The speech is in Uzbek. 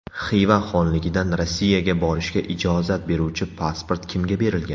Xiva xonligidan Rossiyaga borishga ijozat beruvchi pasport kimga berilgan?.